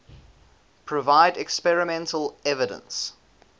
provide experimental evidence